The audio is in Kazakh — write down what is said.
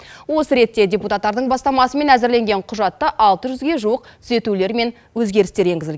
осы ретте депутаттардың бастамасымен әзірленген құжатта алты жүзге жуық түзетулер мен өзгерістер енгізілген